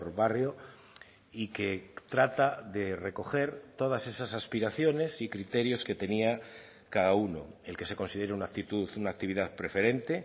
barrio y que trata de recoger todas esas aspiraciones y criterios que tenía cada uno el que se considere una actitud una actividad preferente